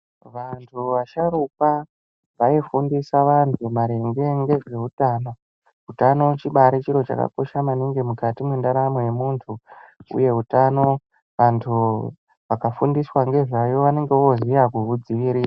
Vantu vasharukwa vaifundisa vantu maringe ngezveutano. Utano chibaari chiro chakakosha maningi mukati mwendaramo yemuntu uye utano antu akafundiswa ngezvayo anenge oziya kuudzivirira.